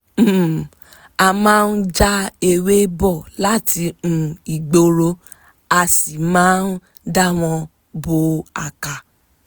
um a máa ń já ewé bọ̀ láti um igbórò a sì máa ń dà wọ́n bo àká